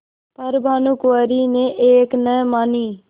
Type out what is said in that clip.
पर भानुकुँवरि ने एक न मानी